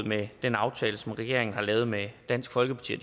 med den aftale som regeringen har lavet med dansk folkeparti